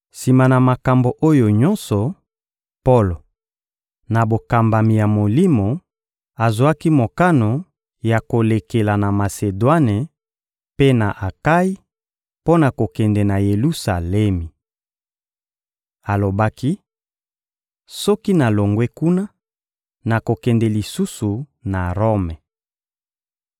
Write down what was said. Sima na makambo oyo nyonso, Polo, na bokambami ya Molimo, azwaki mokano ya kolekela na Masedwane mpe na Akayi mpo na kokende na Yelusalemi. Alobaki: — Soki nalongwe kuna, nakokende lisusu na Rome.